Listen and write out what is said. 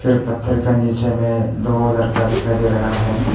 पत्थर का नीचे में दो लड़का दिखाई दे रहा है।